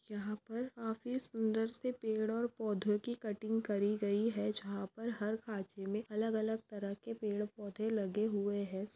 यहा पर काफी सुन्दरसे पेड़ और पौधों की कटिंग करी गई है जहाँ पर हर खाचे में अलग-अलग तरह के पेड़पौधे लगे हुए है।